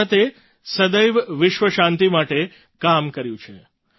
ભારતે સદૈવ વિશ્વ શાંતિ માટે કામ કર્યું છે